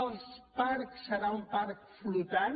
els parcs seran un parc flotant